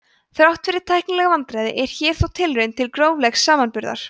þrátt fyrir tæknileg vandkvæði er hér þó tilraun til gróflegs samanburðar